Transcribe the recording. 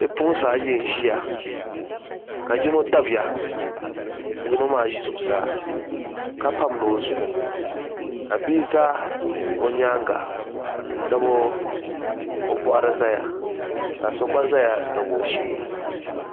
Bipuɣunsi ayi n ʒiya ka yino dabiya ka yino maa ʒi zuɣusaa kapamdi o zuɣu ka bia ʒɛ o nyaanga n tabi o boɣari ʒɛya ka so gba ʒɛya tabi o shee